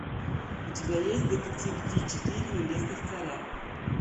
у тебя есть детектив ди четыре небесных царя